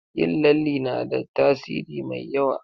Yin lalle na da tasiri mai yawa.